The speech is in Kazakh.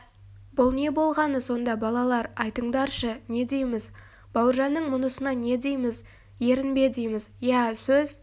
бұл не болғаны сонда балалар айтыңдаршы не дейміз бауыржанның мұнысына не дейміз ерінбе дейміз иә сөз